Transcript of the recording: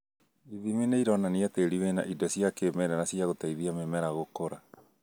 Ithimi nĩironania tĩri wĩna indo cia kĩmerera cia gũteithia mĩmera gũkũra